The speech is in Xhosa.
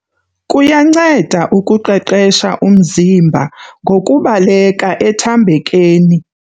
Kuyanceda ukuqeqesha umziba ngokubaleka ethambekeni.